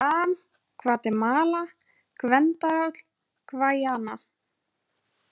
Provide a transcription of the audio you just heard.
Gvam, Gvatemala, Gvendaráll, Gvæjana